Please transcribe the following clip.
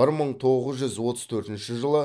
бір мың тоғыз жүз отыз төртінші жылы